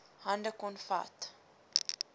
hande kon vat